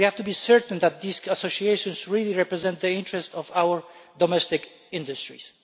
We have to be certain that these associations really represent the interests of our domestic industries.